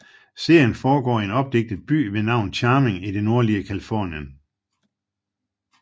Serien foregår i en opdigtet by ved navn Charming i det nordlige Californien